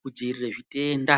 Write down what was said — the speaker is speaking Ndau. kudziirira zvitenda.